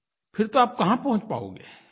फिर तो आप कहाँ पहुँच पाओगे